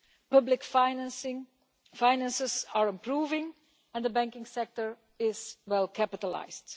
Public finances are improving and the banking sector is well capitalised.